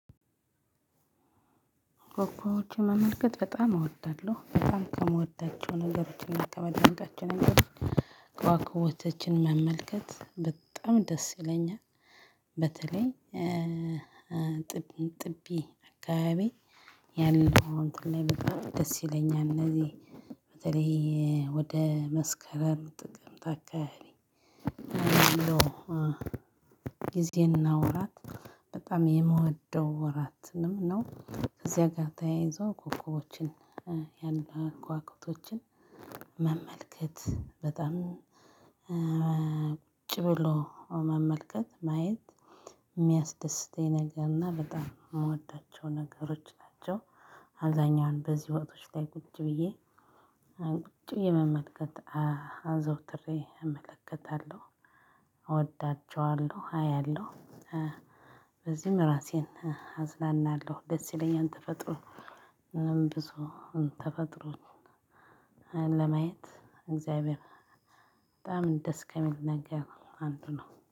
ኮኮቦችን መመልከት በጣም እወዳለሁ በጣም ከምወዳቸው ነገሮች እና ከማደንቃቸው ነገሮች ከዋክቦቶችን መመልከት በጣም ደስ ይለኛል። በተለይ ጥቢ ጥቢ አካባቢ ያለው እንትን ላይ በጣም ደስ ይለኛል። እነዚህ በተለይ ወደ መስከረም ጥቅምት አካባቢ። ጊዜ እና ወራት በጣም የምወደው ወራትንም ነው ከዚያ ጋር ተያይዞ ኮኮቦችን ያለ ከዋክብቶችን መመልከት በጣም ቁጭ ብሎ መመልከት ማየት ሚያስደስተኝ ነገር እና በጣም ምወዳቸው ነገሮች ናቸው። አብዛኛውን በዚህ ወቅቶች ላይ ቁጭ ብዬ ቁጭ ብዬ መመልከት አ አዘውትሬ እመለከታለሁ። እወዳችዋለሁ አያለሁ። በዚህም እራሴን አዝናናለሁ ደስ ይለኛል። ተፈጥሮ ብዙ ተፈጥሮን ለማየት እግዚአብሔር በጣም ደስ ከሚል ነገር አንዱ ነው